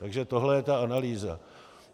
Takže tohle je ta analýza.